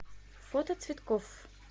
фото цветкофф